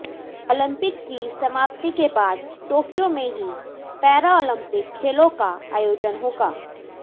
Olympic की समाप्ति के बाद टोक्यो में ही पैरालम्पिक खेलों का आयोजन होगा